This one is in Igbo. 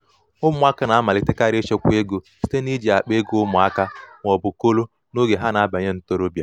ụmụaka na-amalitekarị ịchekwa ego site n’iji akpa ego ụmụaka ego ụmụaka ma ọ bụ kolo n’oge ha na-abanye ntorobịa.